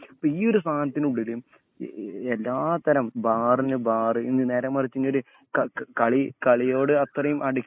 ഇപ്പം ഈയൊരു സദനത്തിനുള്ളില്എ എല്ലാത്തരം ബാറിനുബാറ് നേരെമറിച്ചു ഇനിയൊരു ക ക കളി കളിയയോട് അത്രേം അടിക്ഷൺ